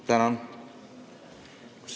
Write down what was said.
Tänan!